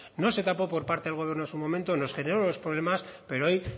no se tapó por parte del gobierno en su momento nos generó unos problemas pero hoy